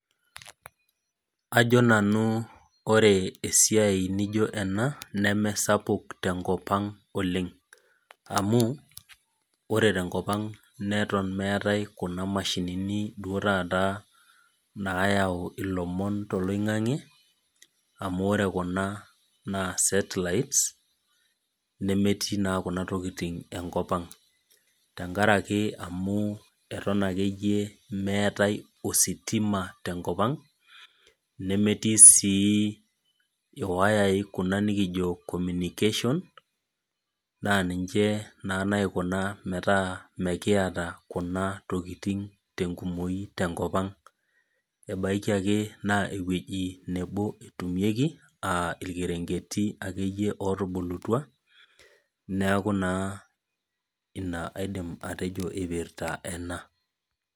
Ajo nanu ore esiai naijio ena